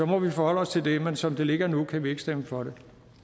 må vi forholde os til det men som det ligger nu kan vi ikke stemme for det